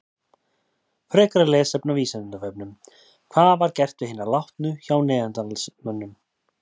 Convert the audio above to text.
Frekara lesefni á Vísindavefnum: Hvað var gert við hina látnu hjá neanderdalsmönnum?